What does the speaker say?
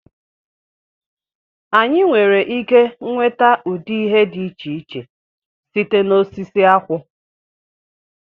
Anyị nwere ike nweta ụdị ihe dị iche iche site na osisi akwụ